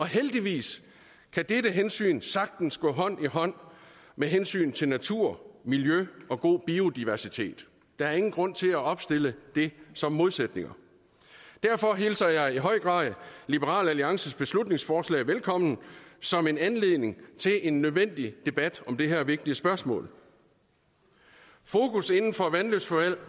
heldigvis kan dette hensyn sagtens gå hånd i hånd med hensynet til natur miljø og god biodiversitet der er ingen grund til at opstille det som modsætninger derfor hilser jeg i høj grad liberal alliances beslutningsforslag velkommen som en anledning til en nødvendig debat om det her vigtige spørgsmål fokus inden